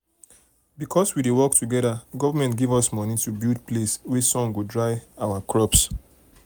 because we dey work together government give us money to build place wey sun go dry our crops.